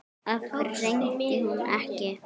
Af hverju hringdi hún ekki?